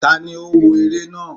taní o wó eré naa?